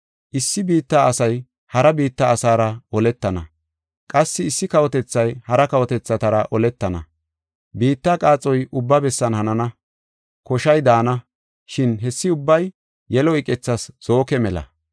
Issi biitta asay hara biitta asaara oletana; qassi issi kawotethay hara kawotethatara oletana; biitta qaaxoy ubba bessan hanana; koshay daana, shin hessi ubbay yelo iqethas zooke mela.